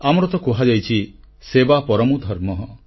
ଆମର ତ କୁହାଯାଇଛି ସେବା ପରମୋ ଧର୍ମଃ